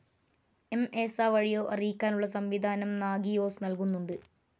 M, S വഴിയോ അറിയിക്കാനുള്ള സംവിധാനം നാഗിയോസ് നൽകുന്നുണ്ട്.